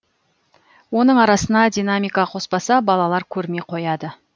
оның арасына динамика қоспаса балалар көрмей қояды